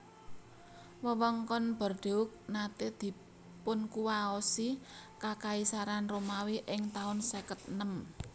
Wewengkon Bordeaux naté dipunkuwaosi Kakaisaran Romawi ing taun seket enem